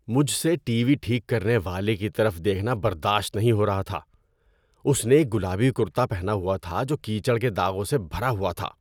مجھ سے TV ٹھیک کرنے والے کی طرف دیکھنا برداشت نہیں ہو رہا تھا۔ اس نے ایک گلابی کُرتا پہنا ہوا تھا جو کیچڑ کے داغوں سے بھرا ہوا تھا۔